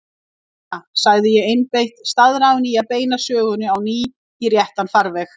Lena, segi ég einbeitt, staðráðin í að beina sögunni á ný í réttan farveg.